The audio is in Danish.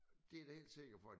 Det er jeg da helt sikker på at